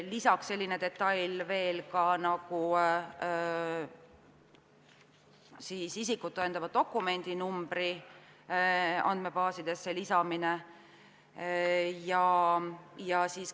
Lisaks selline detail ka, nagu isikut tõendava dokumendi numbri andmebaasidesse lisamine.